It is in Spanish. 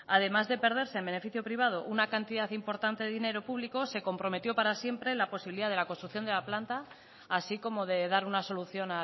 además de perderse en beneficio privado una cantidad importante de dinero público se comprometió para siempre la posibilidad de la construcción de la planta así como de dar una solución